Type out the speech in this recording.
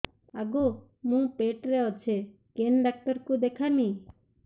ଆଗୋ ମୁଁ ପେଟରେ ଅଛେ କେନ୍ ଡାକ୍ତର କୁ ଦେଖାମି